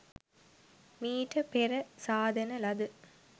මීට පෙර සාදන ලද